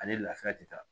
Ani laafiya tɛ taa